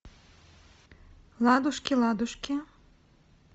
ладушки ладушки